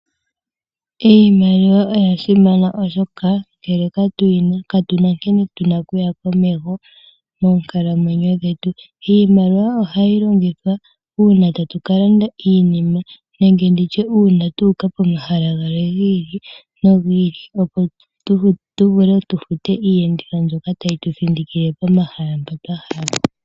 Iimaliwa oya simana oshoka ngele katuyi na katuna nkene tuna okuya komeho moonkalamwenyo dhetu. Iimaliwa ohayi longithwa uuna tatu ka landa iinima nenge nditye uuna tuuka pomahala gamwe gi ili nogi ili opo tuvule okufuta iiyenditho mbyoka tayi tu thindikile pomahala mpoka twa hala.